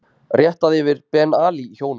Réttað yfir Ben Ali hjónunum